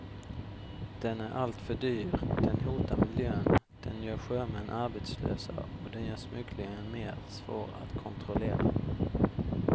Den är alltför dyr, den hotar miljön, den gör sjömän arbetslösa och den gör smugglingen mer svår att kontrollera.